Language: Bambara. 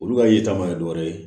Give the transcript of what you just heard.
Olu ka yiri caman ye dɔ wɛrɛ ye